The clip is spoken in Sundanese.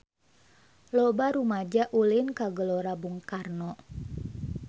Loba rumaja ulin ka Gelora Bung Karno